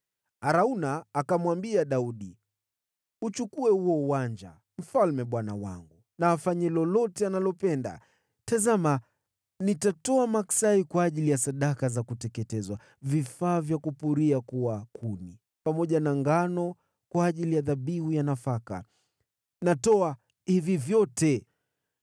Arauna akamwambia Daudi, “Uchukue huo uwanja. Mfalme bwana wangu na afanye lolote analopenda. Tazama, nitatoa maksai kwa ajili ya sadaka za kuteketezwa, vifaa vya kupuria kuwa kuni, pamoja na ngano kwa ajili ya dhabihu ya nafaka. Natoa hivi vyote.”